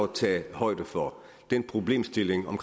tage højde for den problemstilling om